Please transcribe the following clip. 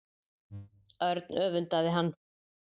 Örn öfundaði hann.